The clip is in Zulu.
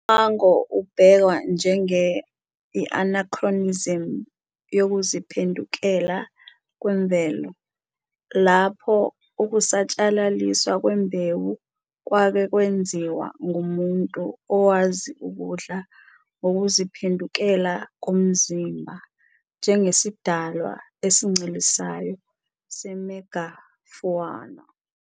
Umango ubhekwa njenge-anachronism yokuziphendukela kwemvelo, lapho ukusatshalaliswa kwembewu kwake kwenziwa ngumuntu owazi ukudla ngokuziphendukela komzimba, njengesidalwa esincelisayo se-megafauna.